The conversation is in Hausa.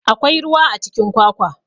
Akwai ruwa a cikin kwakwa.